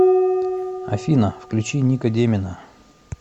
афина включи ника демина